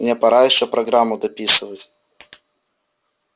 мне пора ещё программу дописывать